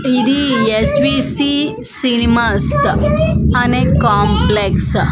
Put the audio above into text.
ఇది S V C cinemas అనే complex .